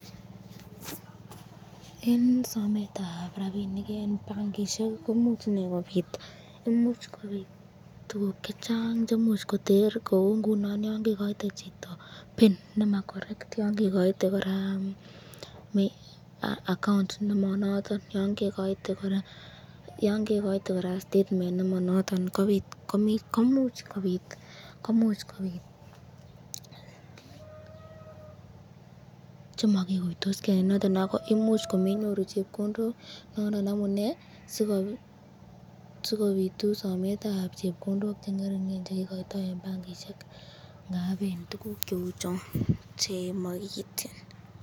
Eng sametab rabishek eng benkishek imuch kobit tukuk chechang cheimuch koter kou ngunon yon kekoite chito pin nema correct, yon kekoite koraa account nemonoton yon kekoite koraa statement nemonoton komuch kobit chemakikuitosken eng yoton ako imuch komenyoru chepkondok nondon amune sikopitu somsetab chepkondok chengeringen chekikoito eng benkishek ndap tukuk cheuchon chemakiityin.